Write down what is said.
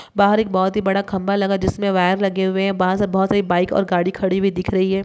बाहर एक बहुत ही बड़ा खम्भा लगा हुआ। जिसमें वायर लगे हुए हैं। वहाँ सब बहुत सारी बाइक और गाड़ी खड़ी हुई दिख रही है।